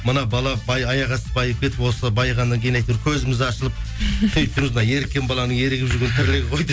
мына бала аяқ асты байып кетіп осы байығаннан кейін әйтеуір көзіміз ашылып мына еріккен баланың ерігіп жүрген тірлігі ғой